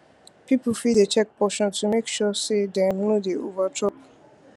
people fit dey check portion to make sure say dem no dey overchop